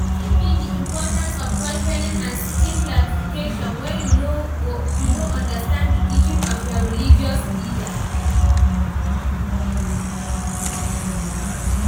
Wetin be di importance of questioning and seeking clarification when you no understand di teaching of your religious leaders?